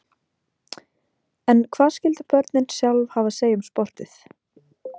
En hvað skyldu börnin sjálf hafa að segja um sportið?